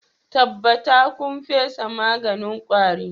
Tabbatar kun fesa maganin kwari